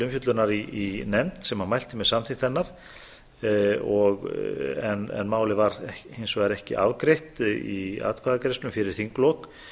umfjöllunar í nefnd sem mælti með samþykkt hennar en málið var hins vegar ekki afgreitt í atkvæðagreiðslum fyrir þinglok